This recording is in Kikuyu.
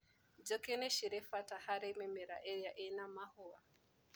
Njũkĩ nĩcirĩ bata harĩ mĩmera ĩrĩa ĩna mahũa.